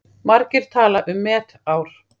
Margir tala um met ár.